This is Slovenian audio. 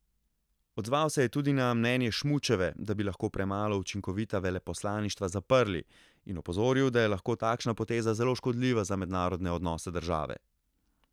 Odzval se je tudi na mnenje Šmučeve, da bi lahko premalo učinkovita veleposlaništva zaprli, in opozoril, da je lahko takšna poteza zelo škodljiva za mednarodne odnose države.